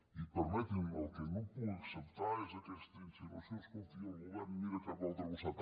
i permeti m’ho el que no puc acceptar és aquesta insinuació escolti el govern mira cap a un altre costat